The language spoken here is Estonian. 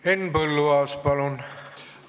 Henn Põlluaas, palun!